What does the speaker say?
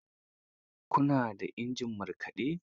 Ku na da injin markaɗe?